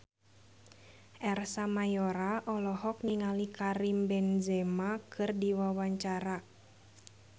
Ersa Mayori olohok ningali Karim Benzema keur diwawancara